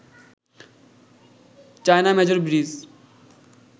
China major bridge